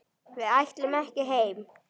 Við ætlum ekki heim!